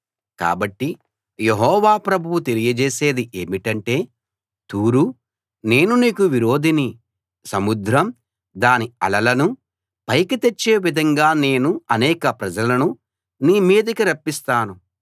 కాబట్టి యెహోవా ప్రభువు తెలియజేసేది ఏమిటంటే తూరూ నేను నీకు విరోధిని సముద్రం దాని అలలను పైకి తెచ్చే విధంగా నేను అనేక ప్రజలను నీ మీదికి రప్పిస్తాను